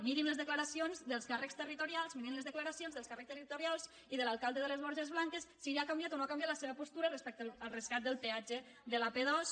mirin les declaracions dels càrrecs territorials mirin les decla·racions dels càrrecs territorials i de l’alcalde de les borges blanques si ha canviat o no ha canviat la seva postura respecte al rescat del peatge de l’ap·dos